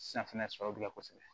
Safinɛ sɔrɔla kosɛbɛ